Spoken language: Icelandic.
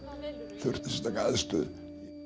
þurft sérstaka aðstöðu